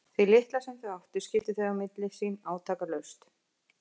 Því litla sem þau áttu skiptu þau á milli sín átakalaust.